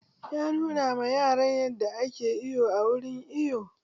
Ya nuna ma yaran yadda ake iwo a wurin iwo